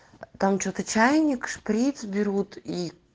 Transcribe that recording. там что-то чайник шприц берут и